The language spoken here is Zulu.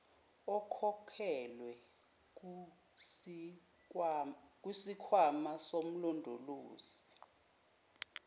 ekhokhelwe kusikhwama somlondolozi